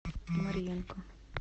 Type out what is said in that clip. марьенко